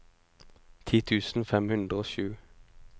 ti tusen fem hundre og sju